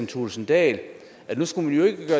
thulesen dahl at nu skulle man jo ikke